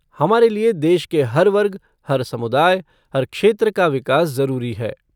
हमारे लिए देश के हर वर्ग, हर समुदाय, हर क्षेत्र का विकास जरूरी है।